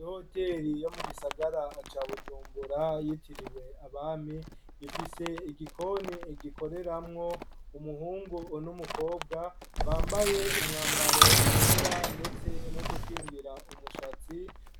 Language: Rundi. I hoteri yo mu gisagara ca bujumbura yitiriwe abami ifise igikoni egikoreramwo umuhungu un' umukobwa bambaye umwambaro wera, ndetse no dukingira umushatsi,